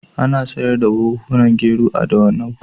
Ana sayar da buhhunan gero a Dawanau.